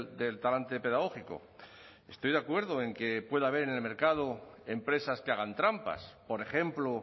del talante pedagógico estoy de acuerdo en que pueda haber en el mercado empresas que hagan trampas por ejemplo